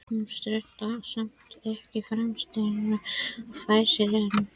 Hún stenst samt ekki freistinguna og fær sér einn.